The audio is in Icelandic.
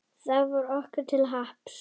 Það varð okkur til happs.